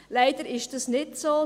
Leider ist das nicht so.